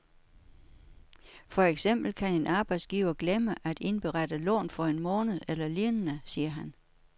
For eksempel kan en arbejdsgiver glemme at indberette lån for en måned eller lignende, siger han.